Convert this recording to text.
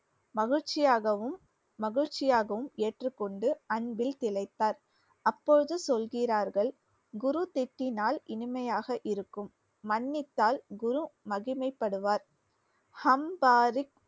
மகிழ்ச்சியாகவும் மகிழ்ச்சியாகவும் ஏற்றுக்கொண்டு அன்பில் திளைத்தார். அப்போது சொல்கிறார்கள் குரு திட்டினால் இனிமையாக இருக்கும் மன்னித்தால் குரு மகிமைப்படுவார்